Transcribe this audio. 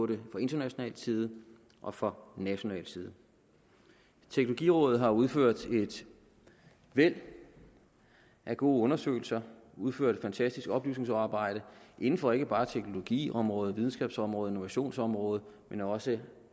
det fra international side og fra national side teknologirådet har udført et væld af gode undersøgelser og udført et fantastisk oplysningsarbejde inden for ikke bare teknologiområdet videnskabsområdet og innovationsområdet men også